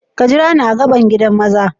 Ka jira ni a gaɓan giɗan maza.